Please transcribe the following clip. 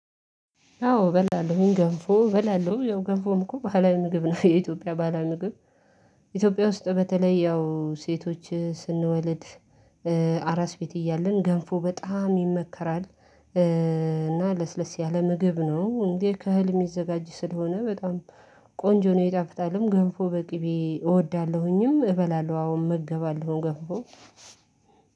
አዎ በላለሁኝ ገንፎ በላለሁ ያው ገንፎም እኮ ባለምግብ ነው። የኢትዮጵያ ባለምግብ ኢትዮጵያ ውስጥ በተለይ ያው ሴቶች ስንወልድ አራስ ቤት እያልን ገንፎ በጣም ይመከራል። እና ለስለስ ያለ ምግብ ነው እንዴ ከህልም የዘጋጅ ስለሆነ፤ በጣም ቆንጆ ነው የጣፍጣለም ገንፎ በቅቤ እወዳለሁኝም እበላለሁ አሁን እመገባለው ገንፎ።